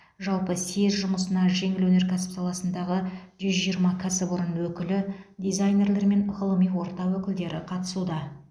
жалпы съезд жұмысына жеңіл өнеркәсіп саласындағы жүз жиырма кәсіпорын өкілі дизайнерлер мен ғылыми орта өкілдері қатысуда